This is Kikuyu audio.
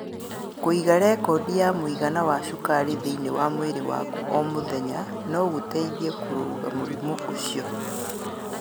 Kũiga rekondi ya mũigana wa cukari thĩinĩ wa mwĩrĩ waku o mũthenya no gũgũteithie kũrũga mũrimũ ũcio.